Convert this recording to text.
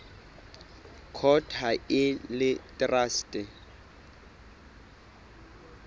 court ha e le traste